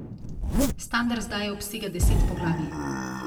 Standard zdaj obsega deset poglavij.